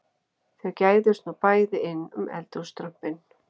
Þau gægðust nú bæði inn um eldhússtrompinn